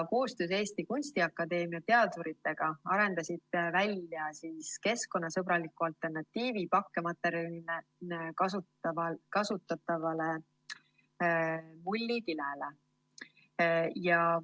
Koostöös Eesti Kunstiakadeemia teaduritega arendasid nad välja keskkonnasõbralikku alternatiivi pakkematerjalina kasutatavale mullikilele.